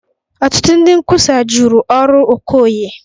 Ọtụtụ ndị nkwusa jụrụ ọrụ Okoye